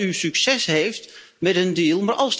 Ik hoop dat u succes hebt met een deal